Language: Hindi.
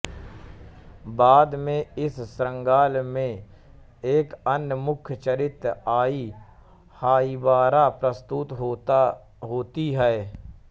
बाद में इस श्रृंखला में एक अन्य मुख्य चरित्र आई हाइबारा प्रस्तुत होती है